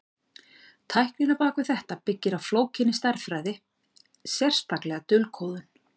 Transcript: Tæknin á bak við þetta byggir á flókinni stærðfræði, sérstaklega dulkóðun.